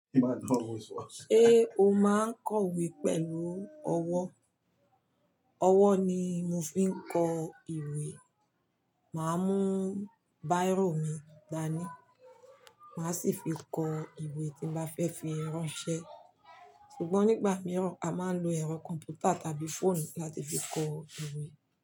Ṣé o máa ń kọ ìwé pẹ̀lú ọwọ́. Ọwọ́ ni mo fi ń kọ ìwé. Máa mú bírò mi dání. Màá sì fi kọ ìwé tí ń bá fẹ́ fi ránṣẹ́. Sugbọn nígbà mìíràn a máa ń lo ẹ̀rọ kọ̀m̀pútà tàbí fóònù láti fi kọ ìwé.